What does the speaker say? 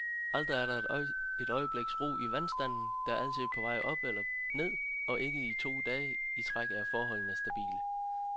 Aldrig er der et øjebliks ro i vandstanden, der altid er på vej op eller ned, og ikke to dage i træk er forholdene stabile.